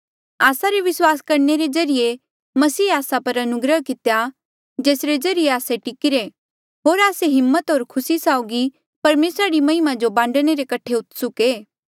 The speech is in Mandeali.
आस्सा रे विस्वास करणे रे ज्रीए मसीहे आस्सा पर अनुग्रह कितेया जेसरे ज्रीए आस्से टिकीरे होर आस्से हिम्मत होर खुसी साउगी परमेसरा री महिमा जो बांडणे रे कठे उत्सुक ऐें